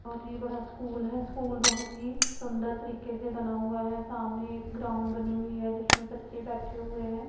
बहुत ही बड़ा स्कूल है स्कूल बहुत ही सुंदर तरीके से बना हुआ है सामने एक ग्राउंड बनी हुई है जिसमें बच्चे बैठे हुए हैं।